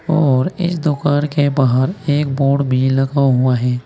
और इस दुकान के बाहर एक बोर्ड भी लगा हुआ है।